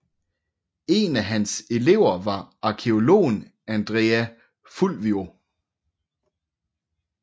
En af hans elever var arkæologen Andrea Fulvio